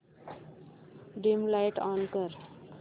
dim light on कर